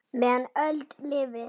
meðan öld lifir